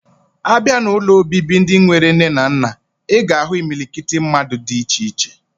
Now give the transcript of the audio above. Abia na ụlọ obibi ndi enwere nne na nna, iga ahu imilikiti ndi mmadu di iche iche.